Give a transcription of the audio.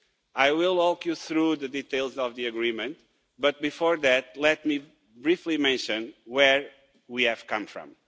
I will walk you through the details of the agreement, but before that, let me briefly mention where we have come from.